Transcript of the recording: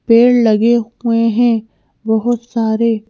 पेड़ लगे हुए हैं बहुत सारे--